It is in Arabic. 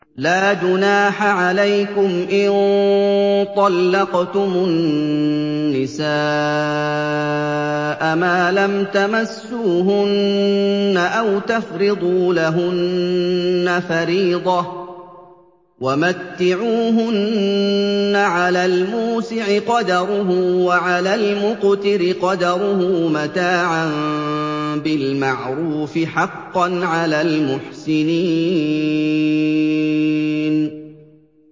لَّا جُنَاحَ عَلَيْكُمْ إِن طَلَّقْتُمُ النِّسَاءَ مَا لَمْ تَمَسُّوهُنَّ أَوْ تَفْرِضُوا لَهُنَّ فَرِيضَةً ۚ وَمَتِّعُوهُنَّ عَلَى الْمُوسِعِ قَدَرُهُ وَعَلَى الْمُقْتِرِ قَدَرُهُ مَتَاعًا بِالْمَعْرُوفِ ۖ حَقًّا عَلَى الْمُحْسِنِينَ